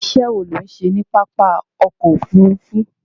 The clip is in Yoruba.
Iṣẹ́ wo ló ń ṣe ní pápá ọkọ̀ Òfurufú?